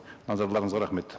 назарларыңызға рахмет